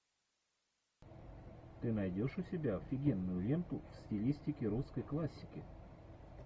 ты найдешь у себя офигенную ленту в стилистике русской классики